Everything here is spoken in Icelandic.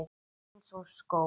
Eins og skó.